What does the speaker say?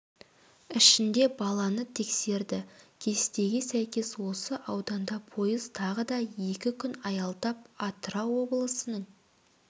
ішінде баланы тексерді кестеге сәйкес осы ауданда пойыз тағы да екі күн аялдап атырау облысының